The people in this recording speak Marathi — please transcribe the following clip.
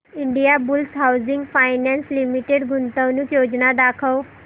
इंडियाबुल्स हाऊसिंग फायनान्स लिमिटेड गुंतवणूक योजना दाखव